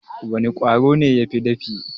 Wana Ƙwaro ne yafi dafi?